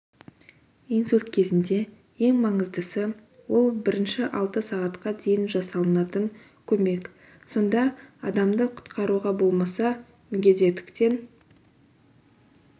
инсульт кезінде ең маңыздысы ол бірінші алты сағатқа дейін жасалынатын көмек сонда адамды құтқаруға болмаса мүгедектіктен